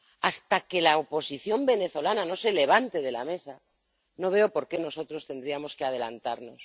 Hasta que la oposición venezolana no se levante de la mesa no veo por qué nosotros tendríamos que adelantarnos.